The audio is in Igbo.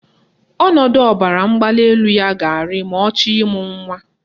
Ọnọdụ ọbaramgbalịelu ya ga-arị ma ọ chọrọ ịmụ nwa